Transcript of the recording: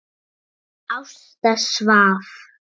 Ásta svaf.